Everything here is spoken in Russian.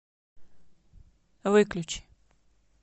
выключи